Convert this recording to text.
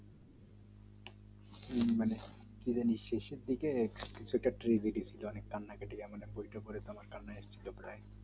সেটা নিশ্চয়ই শেষের দিকে সেটা idiots আমরা কান্নাকাটি এমন এক পরীক্ষার পরে